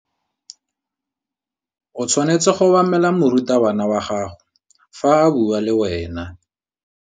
O tshwanetse go obamela morutabana wa gago fa a bua le wena.